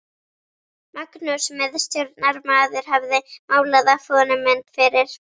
Magnús miðstjórnarmaður hafði málað af honum mynd fyrir